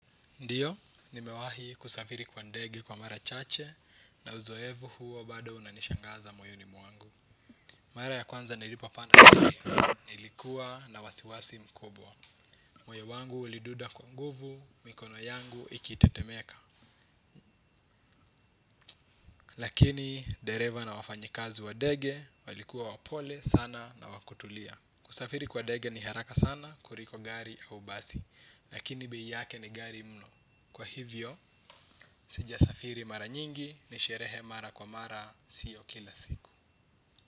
Ndiyo, nimewahi kusafiri kwa ndege kwa mara chache na uzoevu huo bado unanishangaza moyoni muangu. Mara ya kwanza nilipo panda nilikuwa na wasiwasi mkubwa. Moyo wangu uliduda kwa nguvu mikono yangu ikitetemeka. Lakini dereva na wafanyikazi wa dege walikuwa wapole sana na wa kutulia. Kusafiri kwa dege ni haraka sana kuliko gari au basi, lakini bei yake ni ghali mno. Kwa hivyo, sijasafiri mara nyingi ni sherehe mara kwa mara siyo kila siku.